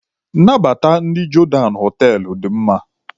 Nnabata ndị Jodan họtelụ dị mma.